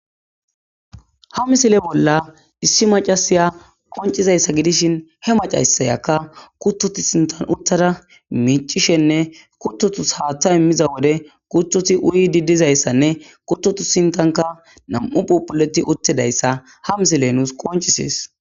ha misile bolla issi macasaya qoncizayssa gidishin he macasayakka kuttoti sintan uttada miicishenne kuttotus haaththa immiza wode kutoti uyi diddizayssanne kuttotu sintanka nam7u phopuleti uttidayssa ha misile nuus qoncisees